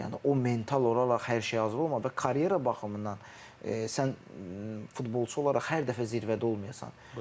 Yəni o mental olaraq hər şeyə hazır olmalıdı və karyera baxımından sən futbolçu olaraq hər dəfə zirvədə olmayasan.